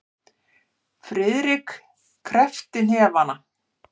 Friðrik kreppti hnefana.